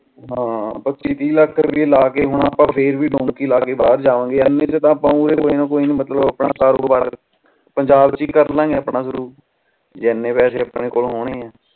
ਹਾਂ ਪਚਿ ਤੀਹ ਲੱਖ ਰੁਪਿਆ ਲਾ ਕੇ ਹੁਣ ਆਪਾ ਫੇਰ ਵੋ ਬਾਹਰ ਜਾਵਾਂ ਗਏ ਏਨਾ ਕ ਤਾ ਆਪ ਓਵੇ ਕੋਈ ਨਾ ਕੋਈ ਮਤਲਬ ਆਪਣਾ ਕਾਰੋਬਾਰ ਪੰਜਾਬ ਚ ਹੀ ਕਰਲਾ ਗਏ ਆਪਣਾ ਸ਼ੁਰੂ ਜੇ ਇਨੀ ਪੈਸੇ ਆਪਣੇ ਕੋਲ ਹੋਣੇ ਆ